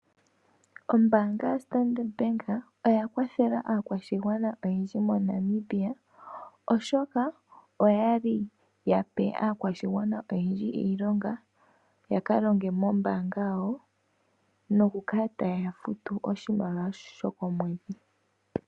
Ombaanga yaStandard Bank oya kwathela aakwashigwana oyendji moNamibia oshoka oyali yape aakwashigwana oyendji iilonga ya kalonge mombaanga yawo nokukala taye ya futu oshimaliwa sho komwedhi.